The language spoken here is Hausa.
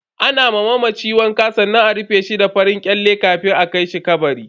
Ana ma mamaci wanka sannan a rufe shi da farin kyale kafin a kai shi kabari.